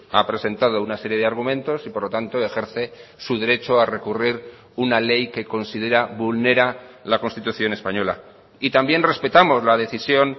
ha presentado una serie de argumentos y por lo tanto ejerce su derecho a recurrir una ley que considera vulnera la constitución española y también respetamos la decisión